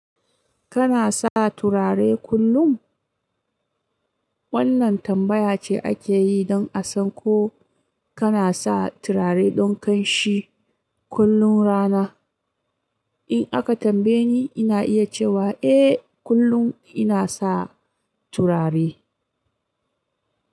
Kana sa turare kullum? Wannan tambaya ce ake yi don a san ko kana sa turare don kamshi kullum rana. In aka tambaye ni, ina iya cewa eh, kullum ina sa turare.